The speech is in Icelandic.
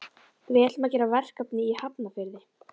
Við ætlum að gera verkefni í Hafnarfirði.